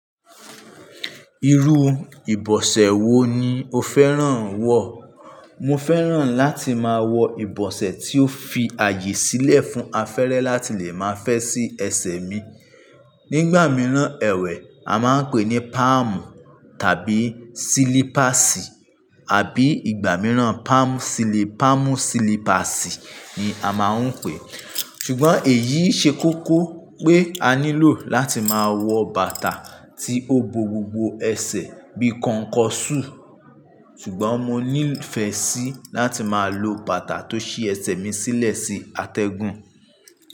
Irú ìbọ̀sẹ̀ wo ni o fẹ́ràn wọ̀? Mo fẹ́ràn láti máa wọ ìbọ̀sẹ̀ tí ó fi ààyè sílẹ̀ fún afẹ́rẹ́ láti lè máa fẹ́ sí ẹsẹ̀ mi. Nígbà mìíràn ẹ̀wẹ̀ a máa ń pè ní páàmù tàbí sílípàsì àbí ìgbà mìíràn páàmù sílípàsì ni a máa ń pè é. Ṣùgbọ́n èyí ṣe kókó pé a nílò láti máa wọ bàtà tí ó bo gbogbo ẹsẹ̀ bí kọnkọṣú. Ṣùgbọ́n mo ní ìfẹ́ sí láti máa lo bàtà tó ṣí ẹsẹ̀ mi sílẹ̀ sí atẹ́gùn.